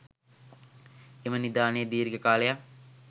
එම නිධානය දීර්ඝ කාලයක්